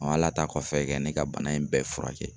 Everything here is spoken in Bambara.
ala ta kɔfɛ kɛ ne ka bana in bɛɛ furakɛ.